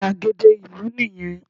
Gbàgede ìlú nì yẹn